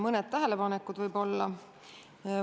Mõned tähelepanekud võib-olla.